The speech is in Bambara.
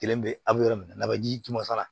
Kelen bɛ a bɛ yɔrɔ min na a bɛ ji tun masa la